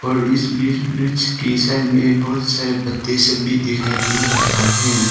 और इस बीच ब्रिज के संग में बहुत सारे पत्ते सब भी दिखाई दे रहा है।